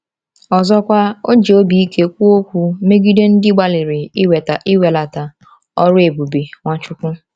Ọzọkwa, o ji obi ike kwuo okwu megide ndị gbalịrị iwelata ọrụ ebube Nwachukwu.